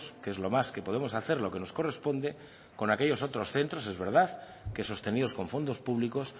que es lo más que podemos hacer lo que nos corresponde con aquellos otros centros es verdad que sostenidos con fondos públicos